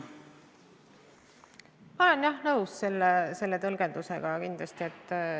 Ma olen, jah, selle tõlgendusega kindlasti nõus.